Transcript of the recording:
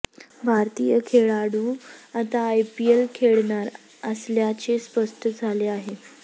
भारतीय खेळाडू आता आयपीएल खेळणार असल्याचे स्पष्ट झाले आहे